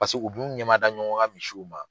Paseke u b'u ɲɛmada ɲɔgɔn ka misiw ma.